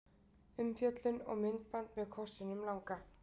Umfjöllun og myndband með kossinum langa